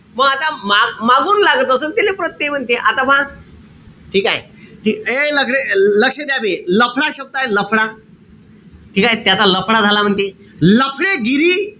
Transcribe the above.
मंग आता मागून लागत असेल त्याले प्रत्यय म्हणते. म आता पहा. ठीकेय? एक लक्ष लक्ष द्या बे. लफडा शब्दय लफडा. ठीकेय? त्याचा लफडा झाला म्हणते. लफ़डेगिरी,